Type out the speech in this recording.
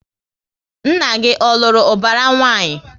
Nna gị ọ lụrụ ubara nwanyị?